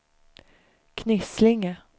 Knislinge